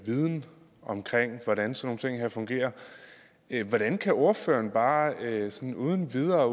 viden om hvordan sådan nogle ting her fungerer hvordan kan ordføreren bare sådan uden videre